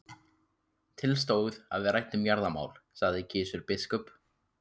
Til stóð að við ræddum jarðamál, sagði Gizur biskup.